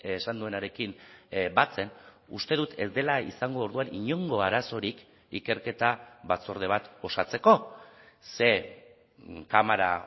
esan duenarekin batzen uste dut ez dela izango orduan inongo arazorik ikerketa batzorde bat osatzeko ze kamara